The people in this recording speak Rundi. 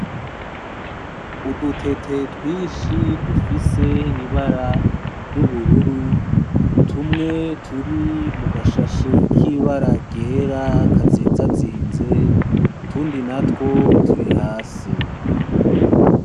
Udutete twinshi dufise ibara ryubururu tumwe turi mugashashe kibara ryera kazizazinze , utundi natwo turi hasi.